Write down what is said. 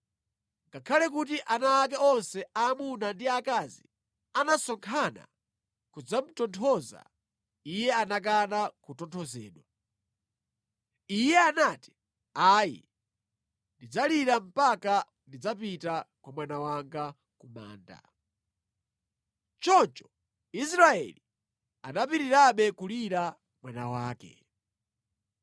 Ngakhale kuti ana ake onse aamuna ndi aakazi anasonkhana kudzamutonthoza, iye anakana kutonthozedwa. Iye anati, “Ayi. Ndidzalira mpaka ndidzapite kwa mwana wanga ku manda.” Choncho Israeli anapitirirabe kulira mwana wake.